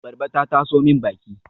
Abarba ta taso min baki